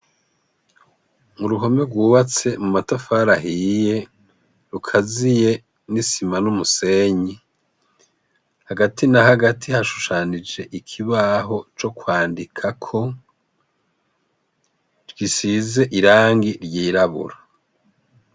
Mu ruhome rwubatse mu matafarahiye rukaziye n'isima n'umusenyi, hagati na hagati hashushanije ikibaho co kwandikako twisize irangi ryirabura.